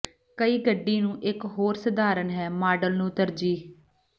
ਕਈ ਗੱਡੀ ਨੂੰ ਇੱਕ ਹੋਰ ਸਧਾਰਨ ਹੈ ਮਾਡਲ ਨੂੰ ਤਰਜੀਹ